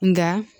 Nka